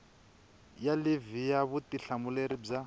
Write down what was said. ya livhi ya vutihlamuleri bya